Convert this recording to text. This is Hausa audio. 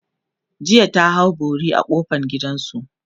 jiya ta hau bori a kofan gidansu